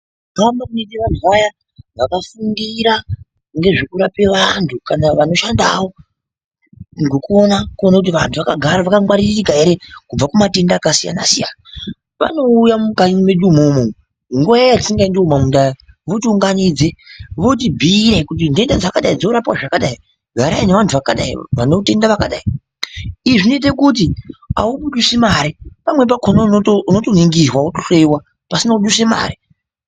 Kuhamba kunoita vantu vaya vanofundira ngezvekurapa vantu, kana vanoshanda wo ngekuona kuti vantu vakangwaririka ere kubva kumatenda akasiyana siyana. Vanouya mukanyi mwedu imwomwo nguwa yatisingaendi kumamunda iyaa, votiunganidza votibhiire kuti nhenda dzakadai dzinorapwa zvakadai. Garai nevantu zvakadai vane utenda wakadai. Izvi zvinoita kuti abudisi mari. Pamweni pakhona unoto unoto ningirwa wotohloiwa pasina kudusa mare.